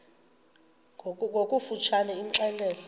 ngokofu tshane imxelele